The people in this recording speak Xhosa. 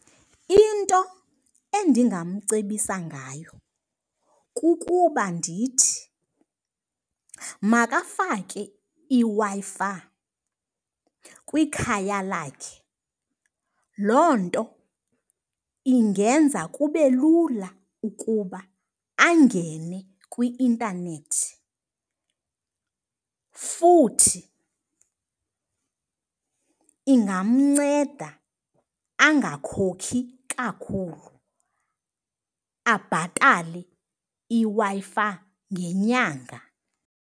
Into endingamcebisa ngayo kukuba ndithi makafake iWi-Fi kwikhaya lakhe. Loo nto ingenza kube lula ukuba angene kwi-intanethi futhi ingamnceda angakhokhi kakhulu, abhatale iWi-Fi ngenyanga.